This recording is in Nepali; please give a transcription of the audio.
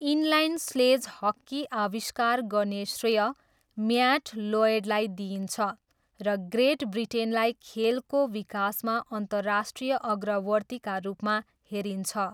इनलाइन स्लेज हक्की आविष्कार गर्ने श्रेय म्याट लोयडलाई दिइन्छ, र ग्रेट ब्रिटेनलाई खेलको विकासमा अन्तर्राष्ट्रिय अग्रवर्तीका रूपमा हेरिन्छ।